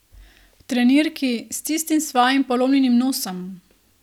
V trenirki, s tistim svojim polomljenim nosom!